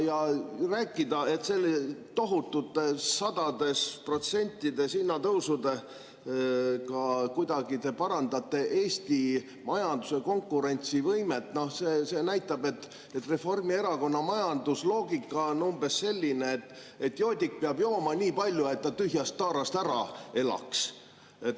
Ja rääkida, et selliste tohutute, sadades protsentides hinnatõusudega te kuidagi parandate Eesti majanduse konkurentsivõimet – see näitab, et Reformierakonna majandusloogika on umbes selline, et joodik peab jooma nii palju, et ta tühjast taarast ära elaks.